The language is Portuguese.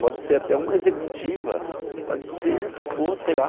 Pode ser até uma executiva, pode ser o que for, sei lá.